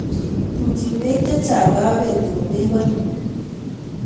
Tumchin beek chechang kabeti komebolu.